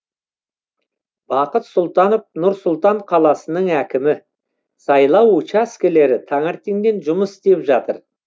бақыт сұлтанов нұр сұлтан қаласының әкімі сайлау учаскелері таңертеңнен жұмыс істеп жатыр